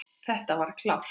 Þetta var klárt.